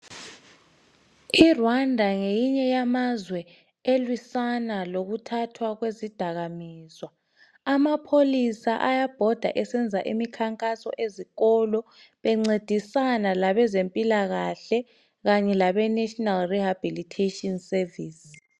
IRwanda ngelinye lamazwe elilwisana lokuthatha kwezidakamizwa. Amapholisa ayabhoda esenza imikhankaso ezikolo bencedisana labezempilakahle lenhlanganiso yokuguqulwa kwalabo asebangenwa yizidakamizwa.